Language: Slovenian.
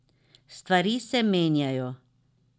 Stvari se menjajo.